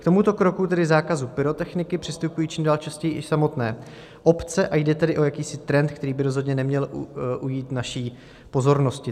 K tomuto kroku, tedy zákazu pyrotechniky, přistupují čím dál častěji i samotné obce, a jde tedy o jakýsi trend, který by rozhodně neměl ujít naší pozornosti.